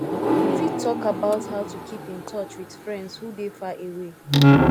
you fit talk about how to keep in touch with friends who dey far away